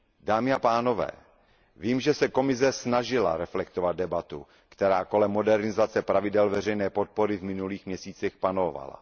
Dámy a pánové, vím, že se Komise snažila reflektovat debatu, která kolem modernizace pravidel veřejné podpory v minulých měsících panovala.